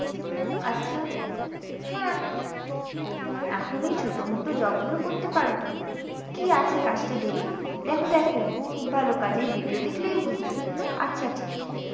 আচ্ছা? হ্যাঁ এখন এই ছোটমোটো job গুলো করতে পারো তুমি। কী আছে কাজটা দেখি? দেখো দেখো খুব ভালো কাজ এই video দেখলেই বুঝবে। আচ্ছা আচ্ছা দেখি।